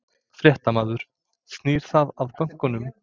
Fréttamaður: Snýr það að bönkunum?